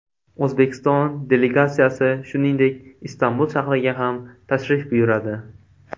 O‘zbekiston delegatsiyasi, shuningdek, Istanbul shahriga ham tashrif buyuradi.